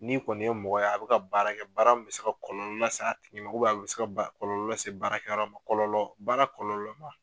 Ni kɔni ye mɔgɔ ye a bɛ ka baarakɛ, baara min bɛ se ka kɔlɔlɔ lase a tigi ma a bɛ se ka ba kɔlɔlɔ lase baarakɛ yɔrɔ ma, kɔlɔlɔ baara kɔlɔlɔ